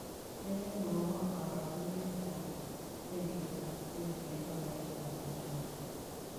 Kaigai mwawon karogenetap silingiitap kenya eng' tolaitap amerika